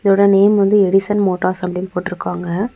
இதோட நேம் வந்து Edison Motors அப்படின்னு போட்டுருக்காங்க.